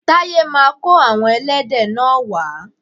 Taye ma kó àwon ẹlẹ́dẹ̀ náà wa